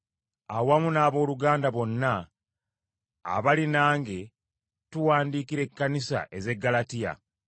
awamu n’abooluganda bonna abali nange tuwandiikira ekkanisa ez’e Ggalatiya,